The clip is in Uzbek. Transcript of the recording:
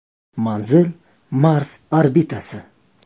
“Manzil Mars orbitasi.